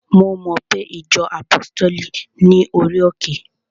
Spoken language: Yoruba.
Mo mo pe ìjọ àpọ́stéli ní orí òkè?